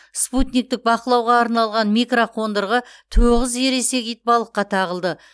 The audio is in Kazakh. спутниктік бақылауға арналған микроқондырғы тоғыз ересек итбалыққа тағылды